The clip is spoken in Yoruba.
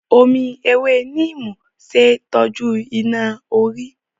Omi ewé Neem ṣe é tọ́jú iná-orí.